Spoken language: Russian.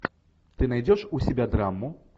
ты найдешь у себя драму